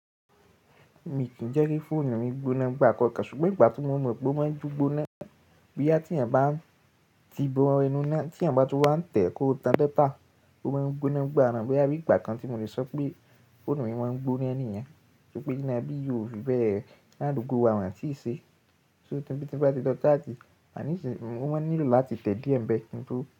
Mi kì í jẹ́ kí fóònù mi gbóná gbà kọ̀ọ̀kan, ṣùgbọ́n ìgbà tí mo mọ̀ pé ó máa ń gbóná bí i à tí ẹ̀eyan bá n tí bó enú inà, tí ẹ̀eyan bá tu n wá ń tẹ̀ kó tán datà, ó máa ń gbóná nigbà naa. Boya bí ìgbà kan tí mo lè sọ pé fóònù mi máa ń gbóná ní ìyẹn. Ṣùgbọ́n íná bí i ò fi bẹ́ẹ̀ ináà adugbo wa, won tii ṣe. So tí nba ti lo charge, àní sì wọ́n nílò láti tẹ̀ díẹ̀ ń bẹ kí n tó.